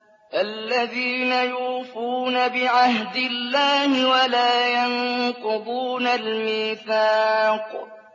الَّذِينَ يُوفُونَ بِعَهْدِ اللَّهِ وَلَا يَنقُضُونَ الْمِيثَاقَ